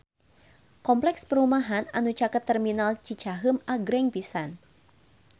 Kompleks perumahan anu caket Terminal Cicaheum agreng pisan